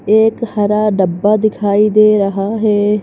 एक हरा डब्बा दिखाई दे रहा है।